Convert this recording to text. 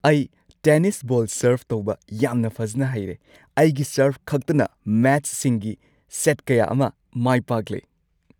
ꯑꯩ tennis ball serve ꯇꯧꯕ ꯌꯥꯝꯅ ꯐꯖꯅ ꯍꯩꯔꯦ꯫ ꯑꯩꯒꯤ ꯁꯔꯚꯈꯛꯇꯅ ꯃꯦꯆꯁꯤꯡꯒꯤ ꯁꯦꯠ ꯀꯌꯥ ꯑꯃ ꯃꯥꯏ ꯄꯥꯛꯂꯦ ꯫